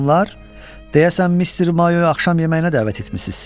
Xanımlar, deyəsən Mister Mayoya axşam yeməyinə dəvət etmisiz.